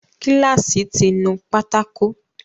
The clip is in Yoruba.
Kíláàsì ti nu pátákó